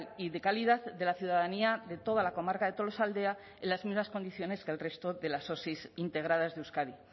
y de calidad de la ciudadanía de toda la comarca de tolosaldea en las mismas condiciones que el resto de las osi integradas de euskadi